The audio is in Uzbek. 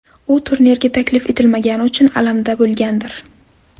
U turnirga taklif etilmagani uchun alamda bo‘lgandir.